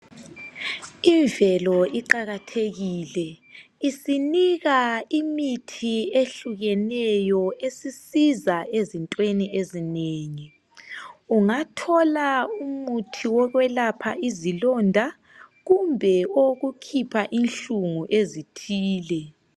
Imvelo iqathekile , isinika imithi ehlukeneyo esisiza ezintweni ezinengi .Ungathola umuthi wokwelapha izilonda kumbe owokukhipha inhlungu ezithile .